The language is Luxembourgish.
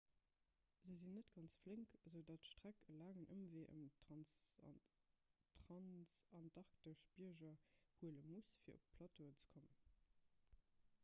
se sinn net ganz flénk esoudatt d'streck e laangen ëmwee ëm d'transantarktesch bierger huele muss fir op de plateau ze kommen